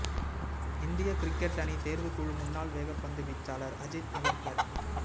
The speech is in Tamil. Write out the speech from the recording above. இந்திய கிரிக்கெட் அணி தேர்வுக் குழு முன்னாள் வேகப் பந்துவீச்சாளர் அஜித் அகர்கர்